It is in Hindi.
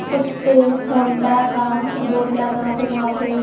उस पे होंडा का बोर्ड लगा हुआ है।